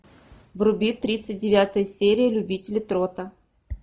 вруби тридцать девятая серия любители трота